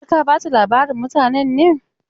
Har ka ba ta labarin mutanen ne?